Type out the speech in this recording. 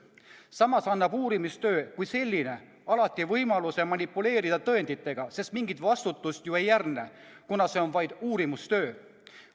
Samas annab uurimistöö kui selline alati võimaluse manipuleerida tõenditega, sest mingit vastutust ju ei järgne, kuna see on vaid uurimistöö.